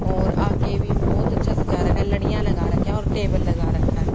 और आगे भी बहुत अच्छा सजा रखा है लड़ियां लगा रखी हैं और टेबल लगा रखा है।